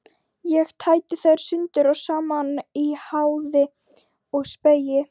Ég tæti þær sundur og saman í háði og spéi.